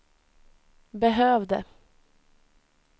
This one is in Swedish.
behövde